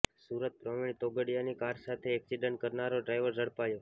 સુરતઃ પ્રવિણ તોગડીયાની કાર સાથે એક્સિડન્ટ કરનારો ડ્રાઈવર ઝડપાયો